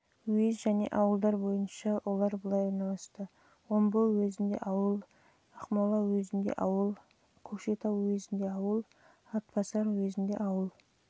уез және ауылдар бойынша олар былай орналасты омбы уезінде ауыл ақмола уезінде ауыл көкшетау уезінде ауыл атбасар уезінде